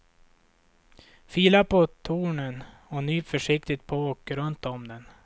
Fila på tornen och nyp försiktigt på och runt om den.